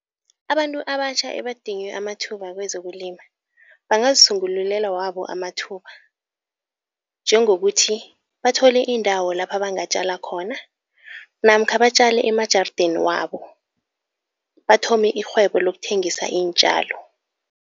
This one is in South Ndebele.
Abantu abatjha ebadinywe amathuba kwezokulima, bangazisungululela wabo amathuba. Njengokuthi bathole indawo lapha bangatjala khona namkha batjale emajarideni wabo, bathome irhwebo lokuthengisa iintjalo.